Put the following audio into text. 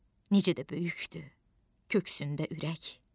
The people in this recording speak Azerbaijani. Necə də böyükdür köksündə ürək!